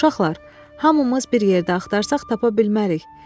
Uşaqlar, hamımız bir yerdə axtarsaq tapa bilmərik.